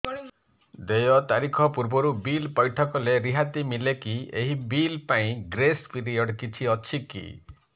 ଦେୟ ତାରିଖ ପୂର୍ବରୁ ବିଲ୍ ପୈଠ କଲେ ରିହାତି ମିଲେକି ଏହି ବିଲ୍ ପାଇଁ ଗ୍ରେସ୍ ପିରିୟଡ଼ କିଛି ଅଛିକି